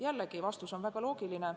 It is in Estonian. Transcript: Jällegi, vastus on väga loogiline.